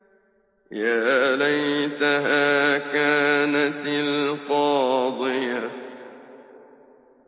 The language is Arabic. يَا لَيْتَهَا كَانَتِ الْقَاضِيَةَ